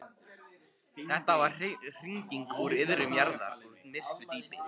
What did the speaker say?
Þetta var hringing úr iðrum jarðar, úr myrku djúpi.